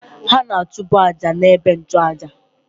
Ha na-achụbụ àjà na-ebe nnchu àjà